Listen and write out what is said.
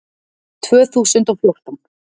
Tvö þúsund og fjórtán